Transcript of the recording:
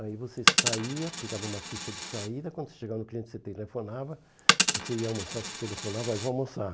Aí você saía, pegava uma ficha de saída, quando você chegava no cliente você telefonava, você ia almoçar, você telefonava, aí vou almoçar.